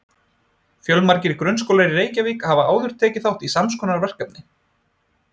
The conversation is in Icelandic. Fjölmargir grunnskólar í Reykjavík hafa áður tekið þátt í sams konar verkefni.